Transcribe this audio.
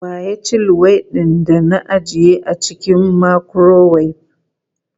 Wa ya ci luwaiɗin da ajiye a cikin makurowef?